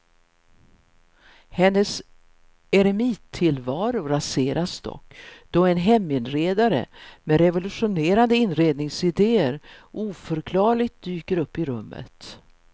Hennes eremittillvaro raseras dock då en heminredare med revolutionerande inredningsidéer oförklarligt dyker upp i rummet.